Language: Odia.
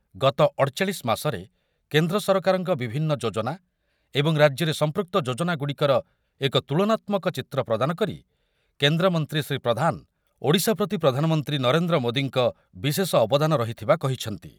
ଗତ ଅଠଚାଳିଶି ମାସରେ କେନ୍ଦ୍ର ସରକାରଙ୍କ ବିଭନ୍ନ ଯୋଜନା ଏବଂ ରାଜ୍ୟରେ ସଂପୃକ୍ତ ଯୋଜନାଗୁଡ଼ିକର ଏକ ତୁଳନାତ୍ମକ ଚିତ୍ର ପ୍ରଦାନ କରି କେନ୍ଦ୍ରମନ୍ତ୍ରୀ ଶ୍ରୀ ପ୍ରଧାନ, ଓଡ଼ିଶା ପ୍ରତି ପ୍ରଧାନମନ୍ତ୍ରୀ ନରେନ୍ଦ୍ର ମୋଦିଙ୍କ ବିଶେଷ ଅବଦାନ ରହିଥିବା କହିଛନ୍ତି।